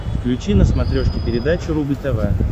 включи на смотрешке передачу рубль тв